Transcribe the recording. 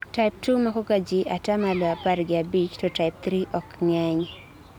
type II makoga ji atamalo apar gi abich ,to type III ok ng'eny